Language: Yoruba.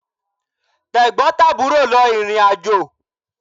Tẹ̀gbọ́n tàbúrò lọ ìrìnàjò